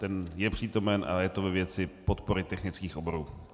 Ten je přítomen a je to ve věci podpory technických oborů.